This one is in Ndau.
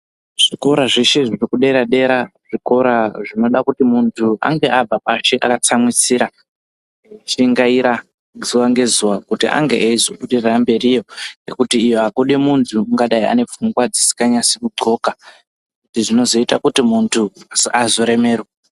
Zvikora zveshe zvirikudera-dera zvikora zvinoda kuti muntu angaabva pashi akatsamwisira kushingara zuva ngezuva kuti angeeizo budirira mberiyo. Ngekuti iyo hakudi muntu ungadai anepfunga dzisika nasi kundxoka, izvi zvinozoita kuti muntu azoremerwa.